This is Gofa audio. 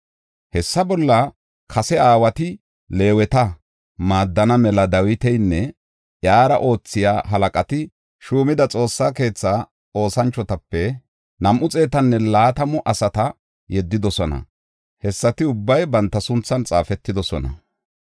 Hessa bolla kase aawati Leeweta maaddana mela Dawitanne iyara oothiya halaqati shuumida Xoossa keetha oosanchotape nam7u xeetanne laatamu asata yeddidosona. Hessati ubbay banta sunthan xaafetidosona.